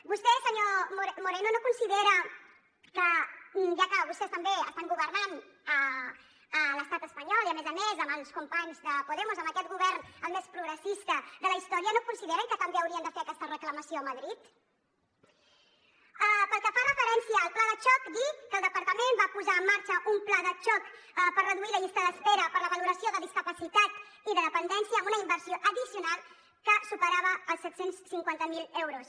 vostè senyor moreno no considera que ja que vostès també estan governant a l’estat espanyol i a més a més amb els companys de podemos amb aquest govern el més progressista de la història no consideren que també haurien de fer aquesta reclamació a madrid pel que fa referència al pla de xoc dir que el departament va posar en marxa un pla de xoc per reduir la llista d’espera per a la valoració de discapacitat i de dependència amb una inversió addicional que superava els set cents i cinquanta miler euros